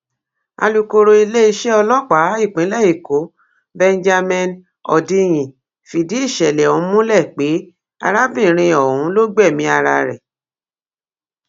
alùkòòró iléeṣẹ ọlọpàá ìpínlẹ èkó benjamin hondnyin fìdí ìṣẹlẹ ọhún múlẹ pé arábìnrin ọhún ló gbẹmí ara rẹ